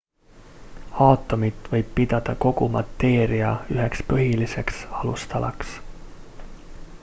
aatomit võib pidada kogu mateeria üheks põhiliseks alustalaks